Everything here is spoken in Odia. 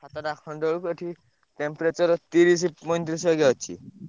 ସାତଟା ଖଣ୍ଡେ ବେଳେକୁ ଏଠି temperature ତିରିଶି ପଇଁତିରିଶି ବାଗିଆ ଅଛି।